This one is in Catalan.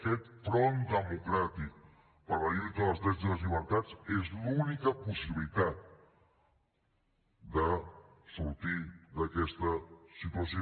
aquest front democràtic per la lluita dels drets i les llibertats és l’única possibilitat de sortir d’aquesta situació